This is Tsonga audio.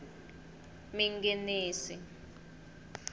minginisi